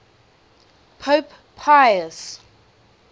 pope pius